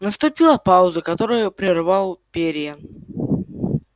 наступила пауза которую прервал пиренн